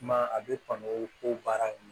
Kuma a bɛ kɔn ko baara in